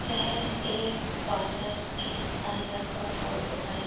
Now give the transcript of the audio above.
यह एक पार्लर के अंदर का फोटो है।